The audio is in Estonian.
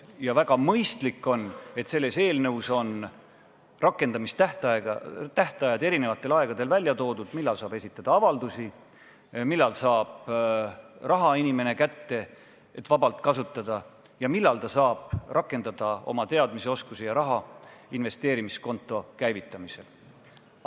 Ja on väga mõistlik, et selles eelnõus on välja toodud rakendamistähtajad: millal saab esitada avaldusi, millal saab inimene raha kätte, et seda vabalt kasutada, ning millal ta saab rakendada oma teadmisi-oskusi raha investeerimiskonto käivitamisel.